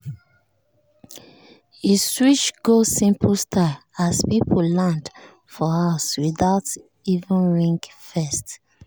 e switch go simple style as people land for house without even ring first.